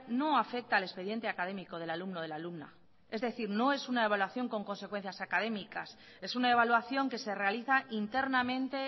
no afecta al expediente académico del alumno o de la alumna es decir no es una evaluación con consecuencias académicas es una evaluación que se realiza internamente